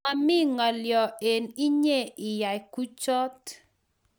Mami ngalyo eng' innye iyai kuchot